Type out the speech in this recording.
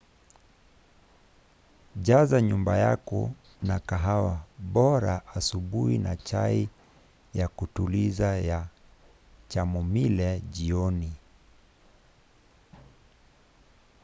jaza nyumba yako na kahawa bora asubuhi na chai ya kutuliza ya chamomile jioni